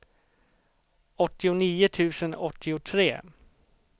åttionio tusen åttiotre